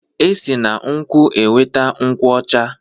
E si na nkwụ enweta nkwụ ọcha.